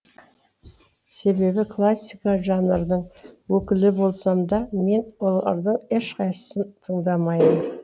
себебі классика жанрының өкілі болсам да мен олардың ешқайсысын тыңдамаймын